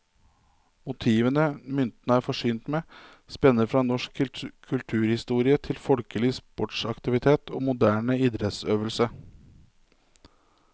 Motivene myntene er forsynt med, spenner fra norsk kulturhistorie til folkelig sportsaktivitet og moderne idrettsøvelse.